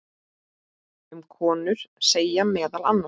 Um konur segir meðal annars